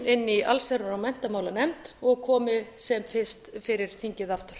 inni í allsherjar og menntamálanefnd og komið sem fyrst fyrir þingið aftur